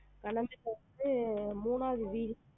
அடுத்து மூணாவது வீடு